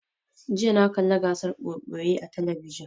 Jiya na kalla gasar ɓoye-ɓoye a talabijin